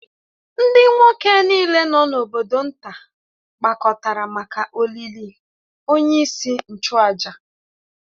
Ndị nwoke niile nọ n’obodo nta gbakọtara maka olili onyeisi nchụàjà